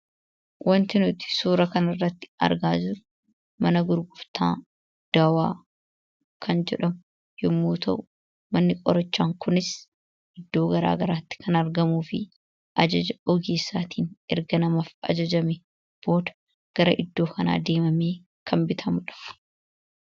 Wanti nuti suura kana irratti argaa jirru mana gurgurtaa dawaa kan jedhamu yommuu ta'u, manni qorichaa kunis iddoo garaa garaatti kan argamuu fi ajaja ogeessaatiin erga namaaf ajajamee booda gara iddoo kanaa deemamee kan bitamudha.